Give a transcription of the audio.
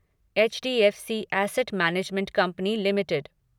HDFC asset management company limited